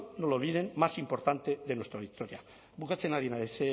no lo olviden más importante de nuestra historia bukatzen ari naiz